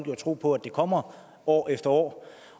jo at tro på at det kommer år efter år